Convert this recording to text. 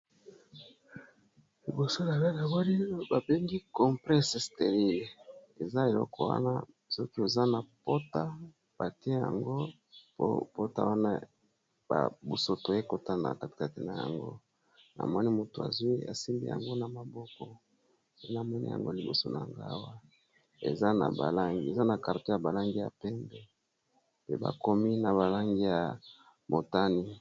Liboso , Na nga Namoni , babengi compresse sterile ! eza eloko wana soki oza na pota ! batie yango po pota wana ba busoto ekota na katkate na yango namoni , moto azwi asimbi yango na maboko namoni yango liboso na nga awa eza na karton ya balangi ya pembe ! mpe bakomi na balangi ya Motani .